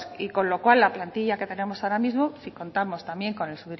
y con lo cual la plantilla que tenemos ahora mismo si contamos también con el